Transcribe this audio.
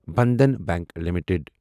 Bandhan bank limited